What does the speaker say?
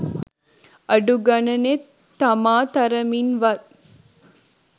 අඩු ගණනේ තමා තරමින් වත්